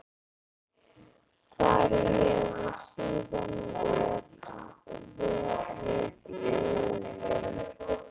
Þar hefur síðan verið auðn.